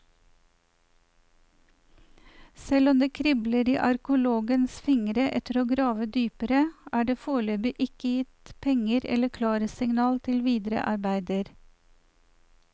Selv om det kribler i arkeologenes fingre etter å grave dypere, er det foreløpig ikke gitt penger eller klarsignal til videre arbeider.